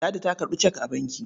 Ladi ta karɓi cek a banki.